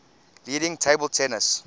leading table tennis